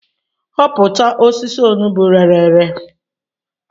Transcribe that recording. Hopụta osisi onugbu rere ere